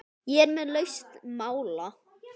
Ég er með lausn mála!